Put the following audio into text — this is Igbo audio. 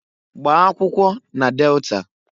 Gbaa akwụkwọ na Delta!